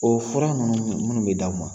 O fura minnu bɛ d'aw ma